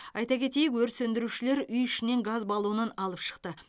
айта кетейік өрт сөндірушілер үй ішінен газ баллонын алып шықты